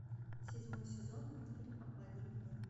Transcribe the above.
седьмой сезон мультфильм обмани меня